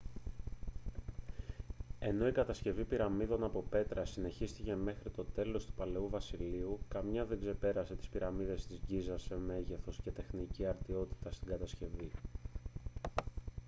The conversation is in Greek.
ενώ η κατασκευή πυραμίδων από πέτρα συνεχίστηκε μέχρι το τέλος του παλαιού βασιλείου καμία δεν ξεπέρασε τις πυραμίδες της γκίζας σε μέγεθος και τεχνική αρτιότητα στην κατασκευή